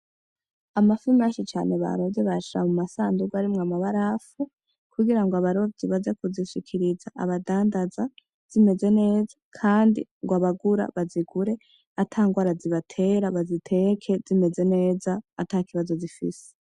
Amafi menshi cane baroze bayashira mu masanduku arimwo amabarafu kugira ngo abarobyi baze kuzishikiriza abadandaza zimeze neza, kandi ngo abaguzi bazigure ata ngwara zibatera, baziteke zimeze neza ata kibazo zifise.